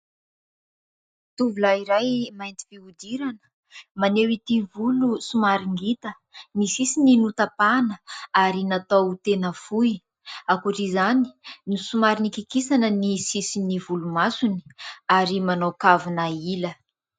Tovolahy iray mainty fihodirana, maneho ity volo somary ngita. Ny sisiny notapahina ary natao tena fohy. Ankoatra izany, somary nokikisana ny sisin'ny volomasony ary manao kavona ila.